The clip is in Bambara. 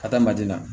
Ka taa manden na